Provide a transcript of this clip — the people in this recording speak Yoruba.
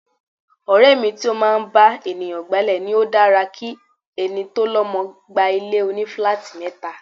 Ọ̀rẹ́ mi tí ó máa ń bá ènìyàn gba'lé ní ó dára ki ẹni tó lọmọ gba ilé òní-filáátì mẹ́ta.